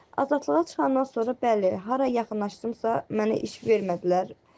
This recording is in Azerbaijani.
Azadlığa çıxandan sonra, bəli, hara yaxınlaşdımsa, məni iş vermədilər.